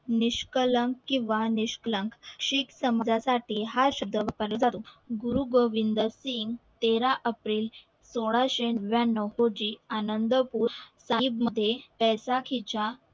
निष्कलंन किव्हा निष्कलन शीख समजा साठी हा शब्द गुरु गोविंद सिघ तेरा april सोळाशे नव्याणव रोजी आनंद मध्ये त्याचा